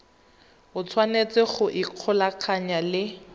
o tshwanetse go ikgolaganya le